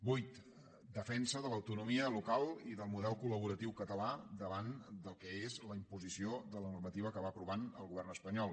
vuit defensa de l’autonomia local i del model collaboratiu català davant del que és la imposició de la normativa que va aprovant el govern espanyol